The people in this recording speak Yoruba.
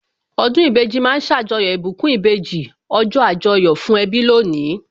Ọdún ìbejì ma ń ṣàjọyọ̀ ìbùkún ìbejì, ọjọ́ Àjọyọ̀ fún ẹbí lónìí